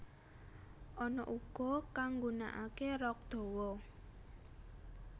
Ana uga kang nggunakake rok dawa